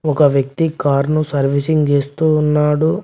ఒక వ్యక్తి కారును సర్వీసింగ్ చేస్తున్నాడు.